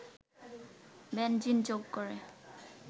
benzene যোগ করে